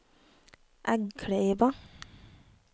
Eggkleiva